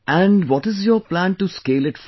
And what is your plan to scale it further